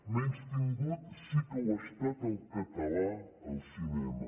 menystingut sí que ho ha estat el català al cinema